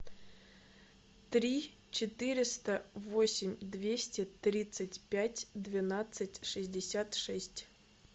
три четыреста восемь двести тридцать пять двенадцать шестьдесят шесть